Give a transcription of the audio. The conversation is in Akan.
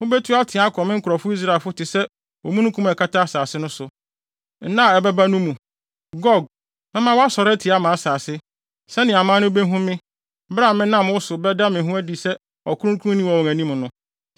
Mubetu ateɛ akɔ me nkurɔfo Israelfo so te sɛ omununkum a ɛkata asase no so. Nna a ɛbɛba no mu. Gog, mɛma woasɔre atia mʼasase, sɛnea aman no behu me, bere a menam wo so bɛda me ho adi sɛ ɔkronkronni wɔ wɔn anim no.